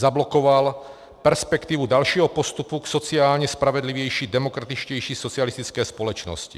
Zablokoval perspektivu dalšího postupu k sociálně spravedlivější, demokratičtější socialistické společnosti.